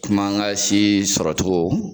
Komi an ka si sɔrɔcogo.